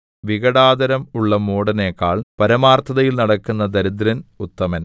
വികടാധരം ഉള്ള മൂഢനെക്കാൾ പരമാർത്ഥതയിൽ നടക്കുന്ന ദരിദ്രൻ ഉത്തമൻ